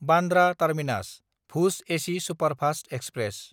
Bandra टार्मिनास–भुज AC superfast express